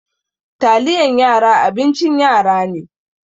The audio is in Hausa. Taliyan yara abincin yara ne.